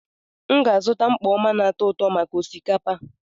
M ga-azụta mkpọ oma na atu-uto maka osikapa.